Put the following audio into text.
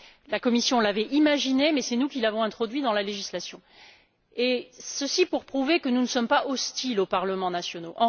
La Commission l'avait imaginé, mais c'est nous qui l'avons introduit dans la législation. Ceci pour prouver que nous ne sommes pas hostiles aux parlements nationaux.